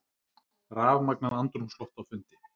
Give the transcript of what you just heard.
Rafmagnað andrúmsloft á fundi